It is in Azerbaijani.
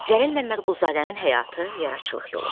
Cəlil Məmmədquluzadənin həyatı, yaradıcılıq yolu.